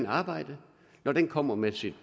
arbejde når den kommer med sit